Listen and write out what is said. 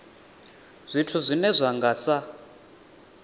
zwithu zwine zwa nga sa